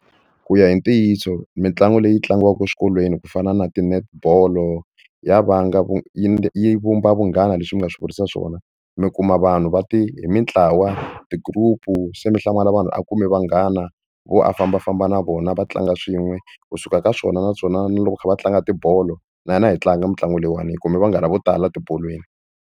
Ku ya hi ntiyiso mitlangu leyi tlangiwaka exikolweni ku fana na ti-netball ya vanga vu yi vumba vunghana leswi mi nga swi vurisa swona mi kuma vanhu va te hi mintlawa ti-group-u se mi hlamala vanhu a kume vanghana vo a fambafamba na vona va tlanga swin'we kusuka ka swona naswona na loko kha va tlanga tibolo na hina hi a hi tlanga mitlangu leyiwani hi kume vanghana vo tala etibolweni.